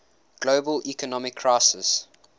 global economic crisis